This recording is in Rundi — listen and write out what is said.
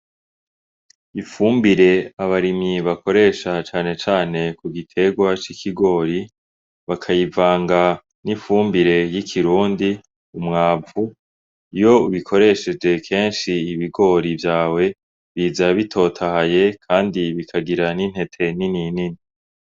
Ifumbire abarimyi bakoresha canecane ku gitegwa c'ikigori bakayivanga n'ifumbire y'ikirundi umwavu iyo ubikoresheje kenshi ibigori vyawe biza bitotahaye, kandi bikagira n'intete nininini.